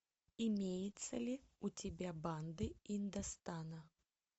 имеется ли у тебя банды индостана